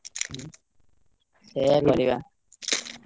ହୁଁ, ସେୟା କରିବା।